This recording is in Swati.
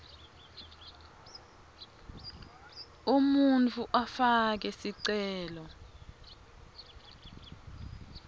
umuntfu afake sicelo